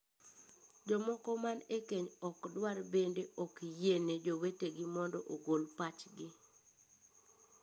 Jomoko man ekeny ok dwar bende ok yiene jowetegi mondo ogol pachgi.